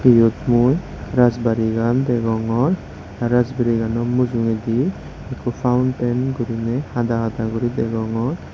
yot mui rajbarigan degong rajbarigano mujungedi ikko founten guriney hada hada guri degongor.